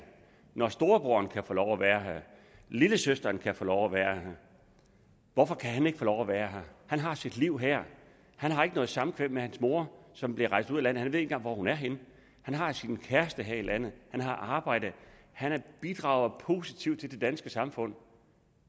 når storebroderen kan få lov at være her lillesøsteren kan få lov at være her hvorfor kan han så ikke få lov at være her han har sit liv her han har ikke noget samkvem med mor som er rejst ud af landet han ved ikke engang hvor hun er henne han har sin kæreste her i landet han har arbejde han bidrager positivt til det danske samfund